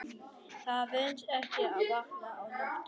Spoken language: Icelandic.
Það venst ekki að vakna á nóttunni.